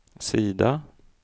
sida